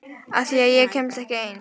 Af því að ég kemst ekki ein.